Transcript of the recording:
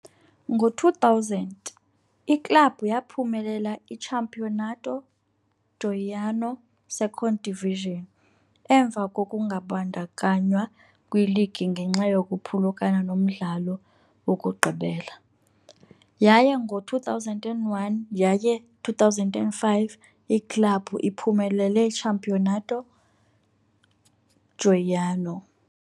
Ngo-2000, iklabhu yaphumelela iCampeonato Goiano Second Division emva kokungabandakanywa kwiligi ngenxa yokuphulukana nomdlalo wokugqibela, yaye ngo-2001 yaye 2005, iklabhu iphumelele Campeonato Goiano.